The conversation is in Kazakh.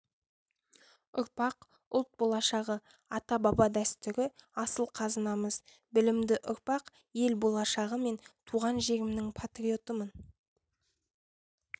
ұрпақ ұлт болашағы ата-баба дәстүрі асыл қазынамыз білімді ұрпақ ел болашағы мен туған жерімнің патриотымын